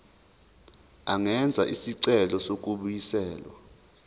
angenza isicelo sokubuyiselwa